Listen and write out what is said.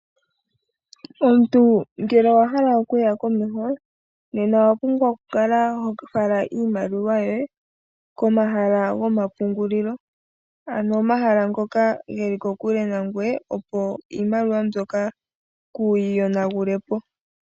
Omuntu ngele owa hala okuya komeho nena owa pumbwa oku kala ho fala iimaliwa yoye komahala goma pungulilo. Ano omahala ngoka geli kokule nangweye opo iimaliwa mbyoka kuyi yonagule po.